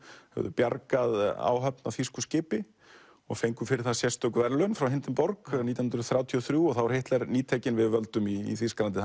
höfðu bjargað áhöfn á þýsku skipi og fengu fyrir það sérstök verðlaun frá Hindenburg nítján hundruð þrjátíu og þrjú og þá var Hitler nýtekinn við völdum í Þýskalandi